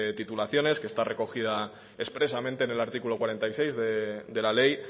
titulaciones que está recogida expresamente en el artículo cuarenta y seis de la ley